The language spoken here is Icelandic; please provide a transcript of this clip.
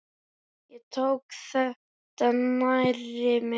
Ég tók þetta nærri mér.